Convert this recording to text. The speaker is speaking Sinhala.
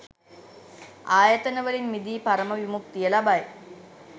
ආයතන වලින් මිදී පරම විමුක්තිය ලබයි.